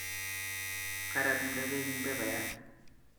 Karatumde bek en pepayat